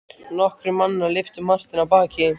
Nokkrir mannanna lyftu Marteini af baki.